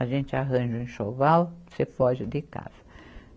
A gente arranja um enxoval, você foge de casa.